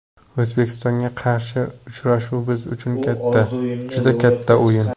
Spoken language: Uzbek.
O‘zbekistonga qarshi uchrashuv biz uchun katta, juda katta o‘yin.